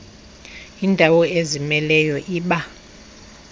yindawo ezimeleyo iba